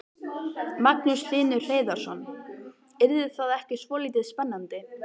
Magnús Hlynur Hreiðarsson: Yrði það ekki svolítið spennandi?